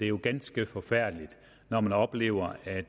jo ganske forfærdeligt når man oplever at